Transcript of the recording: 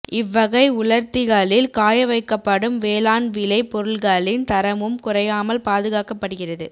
இவ்வகை உலா்த்திகளில் காய வைக்கப்படும் வேளாண் விளை பொருள்களின் தரமும் குறையாமல் பாதுகாக்கப்படுகிறது